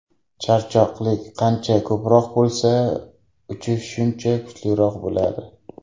Charchoqlik qancha ko‘proq bo‘lsa, uchish shuncha kuchliroq bo‘ladi.